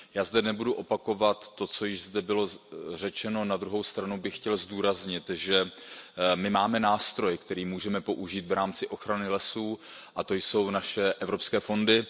Já zde nebudu opakovat to, co již bylo řečeno, na druhou stranu bych chtěl zdůraznit, že my máme nástroj, který můžeme použít v rámci ochrany lesů, a to jsou naše evropské fondy.